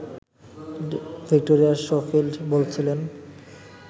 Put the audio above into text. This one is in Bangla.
ভিক্টোরিয়া শোফিল্ড বলছিলেন